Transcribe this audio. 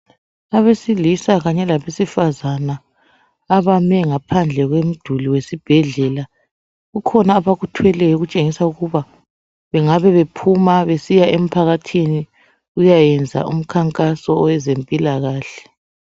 Abesilisa kanye labesifazana abame ngaphandle komduli kwesibhedlela kukhona abakuthweleyo okutshengisa ukuba bangabe bephuma besiya emphakathini besiyakwenza umkhankaso wezempilakahle.